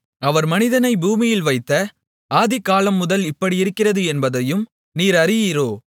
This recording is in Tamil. அவர் மனிதனைப் பூமியில் வைத்த ஆதிகாலமுதல் இப்படியிருக்கிறது என்பதையும் நீர் அறியீரோ